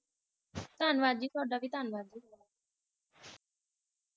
ਹਨਜੀ, ਤਾਂਵਾਦ ਥੁੜਾਂ ਵੀ